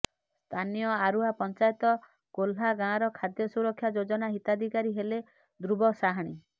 ସ୍ଥାନୀୟ ଆରୁହା ପଞ୍ଚାୟତ କୋହ୍ଲା ଗାଁର ଖାଦ୍ୟ ସୁରକ୍ଷା ଯୋଜନା ହିତାଧୀକାରୀ ହେଲେ ଧୃବ ସାହାଣୀ